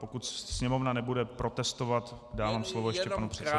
Pokud Sněmovna nebude protestovat, dám slovo ještě panu předsedovi.